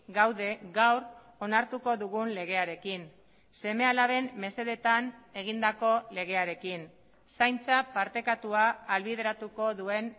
gaude gaur onartuko dugun legearekin seme alaben mesedetan egindako legearekin zaintza partekatua ahalbideratuko duen